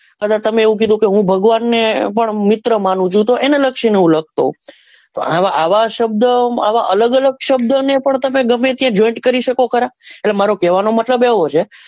અને તમે કીધું કે હું ભગવાન ને પણ મિત્ર માનું છું તો એને લક્ષી ને હું લખતો હોવ પણ અવ શબ્દ અવ અલગ અલગ શબ્દ ને પણ તમે ગમે ત્યાં joint કરી શકો ખરા એટલે મારો કેવા નો મતલબ એવો છે કે,